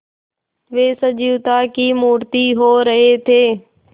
वे सजीवता की मूर्ति हो रहे थे